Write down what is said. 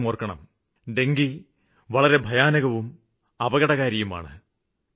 ഒരു കാര്യം ഓര്ക്കണം ഡെങ്കു വളരെ ഭയാനകവും അപകടകാരിയുമാണ്